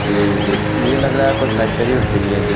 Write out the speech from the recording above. जे जित ये लग रहा है कोई फैक्ट्री वैक्टरी है जी--